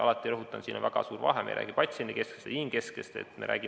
Alati rõhutan, et siin on väga suur vahe: me ei räägi patsiendikesksest, vaid inimkesksest tervishoiust.